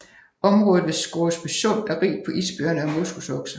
Området ved Scoresbysund er rigt på isbjørne og moskusokser